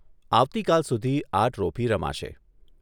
આવતીકાલ સુધી આ ટ્રોફી રમાશે.